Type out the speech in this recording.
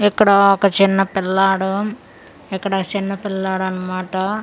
ఇక్కడ ఒక చిన్న పిల్లాడు ఇక్కడ సిన్న పిల్లాడన్మాట--